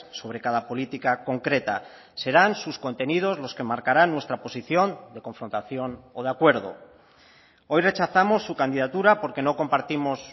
sobre cada política concreta serán sus contenidos los que marcarán nuestra posición de confrontación o de acuerdo hoy rechazamos su candidatura porque no compartimos